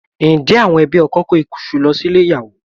Ǹjẹ́ àwọn ẹbí ọkọ kó iṣu lọ sílé ìyàwó?